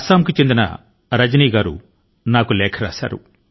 అసమ్ నుండి రజనీ గారు నాకు లేఖ ను వ్రాశారు